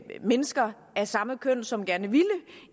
mennesker af samme køn som gerne ville